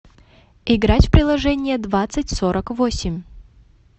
играть в приложение двадцать сорок восемь